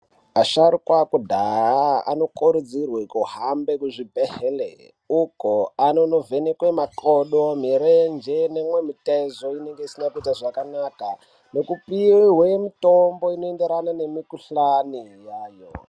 Asharukwa ekudhaya anokurudzirwe kuhamba kuzvibhehlera uko vanonovhenekwe makodo, mirenje nemimwe mitezo inenge isina kuite zvakanaka ,nekupihwe mitombo inoenderana nemikuhlani yayo.